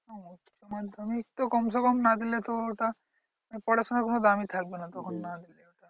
উচ্চমাধ্যমিক তো কম সে কম না দিলে তো ওটা পড়াশোনার কোনো দামই থাকবে না তখন আর।